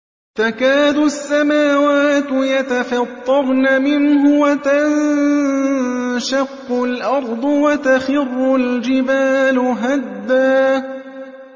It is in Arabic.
تَكَادُ السَّمَاوَاتُ يَتَفَطَّرْنَ مِنْهُ وَتَنشَقُّ الْأَرْضُ وَتَخِرُّ الْجِبَالُ هَدًّا